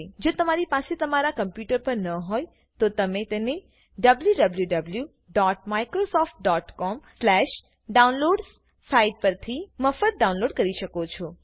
જો તમારી પાસે તે તમારા કમ્પુટર પર ન હોય તો તમે તેને wwwmicrosoftcomdownloadsસાઈટ પરથી મફત ડાઉનલોડ કરી શકો છો